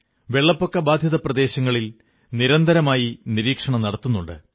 വെള്ളപ്പൊക്ക ബാധിത പ്രദേശങ്ങളിൽ നിരന്തരമായി നിരീക്ഷണം നടക്കുന്നുണ്ട്